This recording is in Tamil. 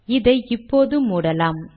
இதை இப்போது மூடலாம்